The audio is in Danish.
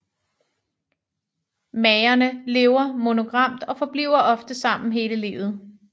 Magerne lever monogamt og forbliver ofte sammen hele livet